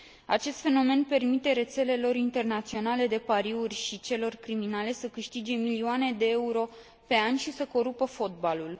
Acest fenomen permite rețelelor internaționale de pariuri și celor criminale să câștige milioane de euro pe an și să corupă fotbalul.